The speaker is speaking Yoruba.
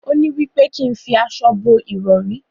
òní wípé kín fí aṣọ bó irọri.